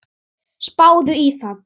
Spáðu í það.